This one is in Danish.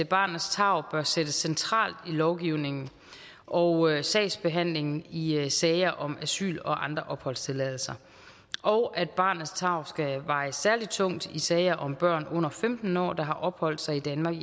barnets tarv bør sættes centralt i lovgivningen og i sagsbehandlingen i sager om asyl og andre opholdstilladelser og at barnets tarv skal veje særlig tungt i sager om børn under femten år der har opholdt sig i danmark